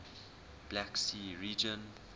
black sea region